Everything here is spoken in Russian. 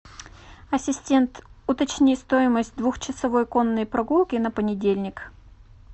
ассистент уточни стоимость двух часовой конной прогулки на понедельник